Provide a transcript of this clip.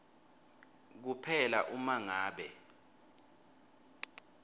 kuphela uma ngabe